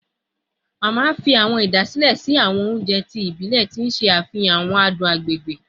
Mama fi awọn idasile sin awọn ounjẹ ti ibilẹ, ti n ṣe afihan awọn adun agbegbe